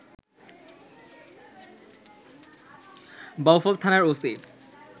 বাউফল থানার ওসি